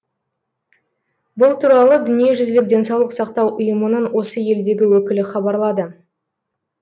бұл туралы дүниежүзілік денсаулық сақтау ұйымының осы елдегі өкілі хабарлады